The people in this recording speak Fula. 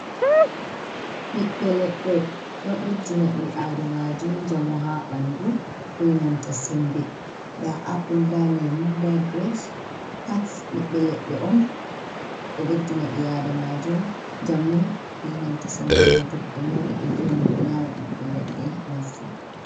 Ɓiɓɓe leɗɗe, ɗo ɓeddina ɓi adamaajo njamu haa ɓanndu be nanta sembe .Ndaa apul, ndaa leemu, ndaa girabs pat ɓiɓbe leɗɗe on .Ɗo ɓeddina ɓi adamaajo njamu benanta sembe .Ngam to goɗɗo nyawɗo, be ɗo vi'amo o nyaama ɓiɓɓe leɗɗe masin.